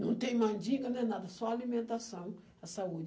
Não tem mandinga, não é nada, só alimentação, a saúde.